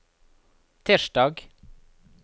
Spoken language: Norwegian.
tirsdag